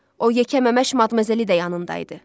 O yekə məməş madməzəli də yanında idi.